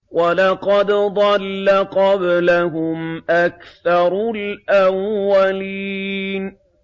وَلَقَدْ ضَلَّ قَبْلَهُمْ أَكْثَرُ الْأَوَّلِينَ